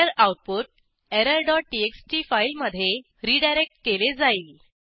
error output error dot TXT फाईलमधे redirect केले जाईल